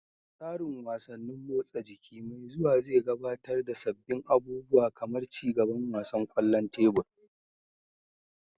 Tsarin wasannin motsa jiki mai zuwa zai gabatar da sabbin abubuwa kamar ci gaban wasan kwallon tebur.